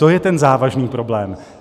To je ten závažný problém.